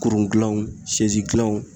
Kurun gilanw sɛzi gilanw